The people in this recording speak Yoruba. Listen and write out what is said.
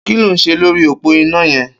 Ki ló n ṣé lóri ópó iná yẹn?